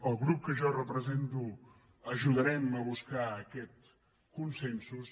el grup que jo represento ajudarem a buscar aquests consensos